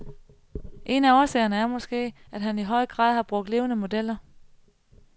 En af årsagerne er måske, at han i høj grad har brugt levende modeller.